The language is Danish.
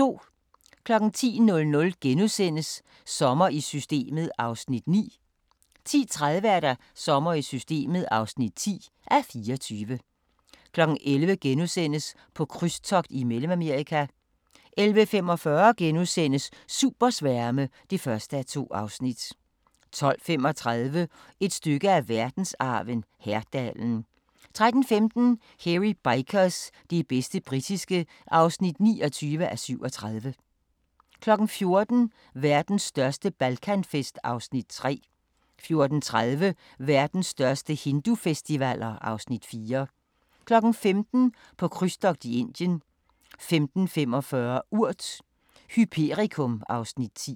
10:00: Sommer i Systemet (9:24)* 10:30: Sommer i Systemet (10:24) 11:00: På krydstogt i Mellemamerika * 11:45: Supersværme (1:2)* 12:35: Et stykke af verdensarven: Herdalen 13:15: Hairy Bikers – det bedste britiske (29:37) 14:00: Verdens største Balkanfest (Afs. 3) 14:30: Verdens største hindufestivaler (Afs. 4) 15:00: På krydstogt i Indien 15:45: Urt: Hyperikum (Afs. 10)